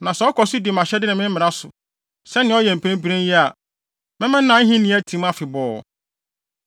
Na sɛ ɔkɔ so di mʼahyɛde ne me mmara so, sɛnea ɔyɛ mprempren yi a, mɛma nʼahenni atim afebɔɔ.’